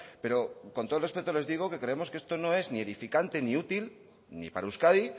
pero con todo el respeto les digo que creemos que esto no es ni edificante ni útil ni para euskadi